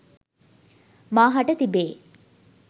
මා හට තිබේ.